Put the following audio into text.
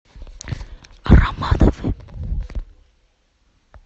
романовы